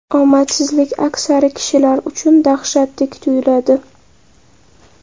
Omadsizlik aksari kishilar uchun dahshatdek tuyuladi.